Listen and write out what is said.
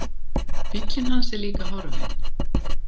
Bíllinn hans er líka horfinn.